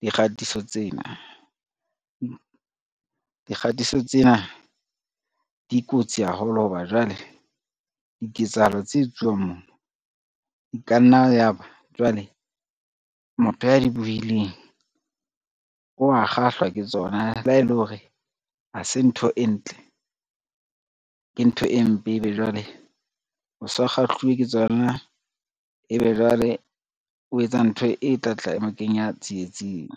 dikgatiso tsena. Dikgatiso tsena di kotsi haholo ho ba jwale diketsahalo tse etsuwang moo e ka nna ya ba jwale motho ya di bohileng, wa kgahlwa ke tsona le ha ele hore ha se ntho e ntle, ke ntho e mpe ebe jwale o so kgahluwe ke tsona, ebe jwale o etsa ntho e tlatla e mo kenya tsietsing.